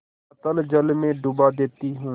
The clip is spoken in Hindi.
अतल जल में डुबा देती हूँ